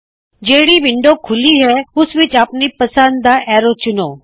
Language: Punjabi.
ਜਿਹੜੀ ਵਿੰਡੋ ਖੂੱਲੀ ਹੈ ਉਸ ਵਿੱਚ ਆਪਣੀ ਪਸੰਦ ਦਾ ਐਰੋ ਚੁਣੋ